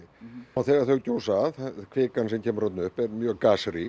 og þegar þau gjósa kvikan sem kemur þarna upp er mjög